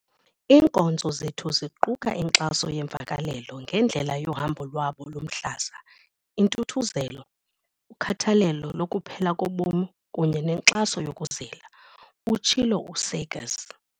"Iinkonzo zethu ziquka inkxaso yeemvakalelo ngendlela yohambo lwabo lomhlaza, intuthuzelo, ukhathalelo lokuphela kobomi kunye nenkxaso yokuzila," utshilo u-Seegers.